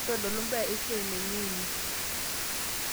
ntodolu mbaa esai naingua ene